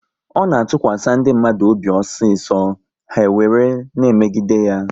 Ọ na-atụkwasị ndị mmadụ obi osiso, ha were na emegide ya